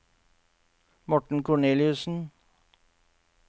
Morten Korneliussen